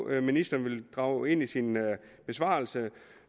at ministeren vil drage ind i sin besvarelse